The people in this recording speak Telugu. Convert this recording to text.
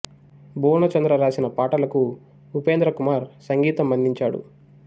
భువన చంద్ర రాసిన పాటలకు ఉపేంద్ర కుమార్ సంగీతం అందించాడు